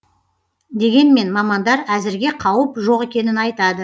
дегенмен мамандар әзірге қауіп жоқ екенін айтады